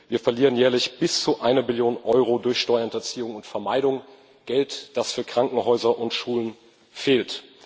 Wir verlieren jährlich bis zu einer Billion Euro durch Steuerhinterziehung und vermeidung, Geld, das für Krankenhäuser und Schulen fehlt.